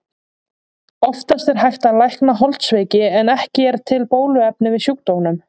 Oftast er hægt að lækna holdsveiki en ekki er til bóluefni við sjúkdómnum.